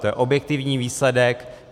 To je objektivní výsledek.